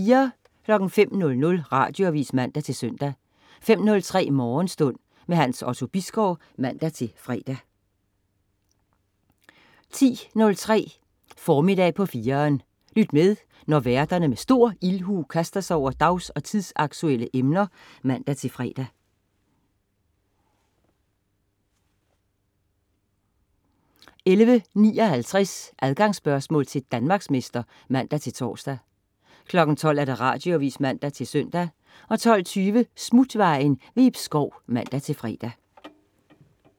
05.00 Radioavis (man-søn) 05.03 Morgenstund. Hans Otto Bisgaard (man-fre) 10.03 Formiddag på 4'eren. Lyt med, når værterne med stor ildhu kaster sig over dags- og tidsaktuelle emner (man-fre) 11.59 Adgangsspørgsmål til Danmarksmester (man-tors) 12.00 Radioavis (man-søn) 12.20 Smutvejen. Ib Schou (man-fre)